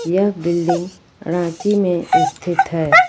यह बिल्डिंग रांची में स्थित है।